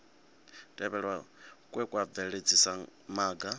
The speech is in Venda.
tevhelwa kwe kwa bveledzisa maga